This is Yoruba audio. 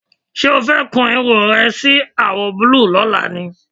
Ṣé o fẹ́ kun irun rẹ sí àwọ̀ búlúù lọ́la ni?